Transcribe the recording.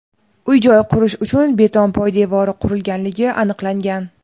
uy-joy qurish uchun beton poydevori qurganligi aniqlangan.